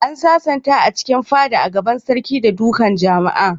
An sasanta a cikin fada a gaban sarki da dukan jama'a.